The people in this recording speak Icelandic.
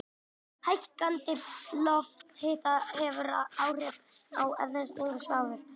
Hækkandi lofthiti hefur áhrif á eðliseiginleika sjávar.